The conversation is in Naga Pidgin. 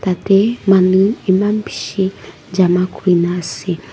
yatae manu eman bishi jama kurina ase--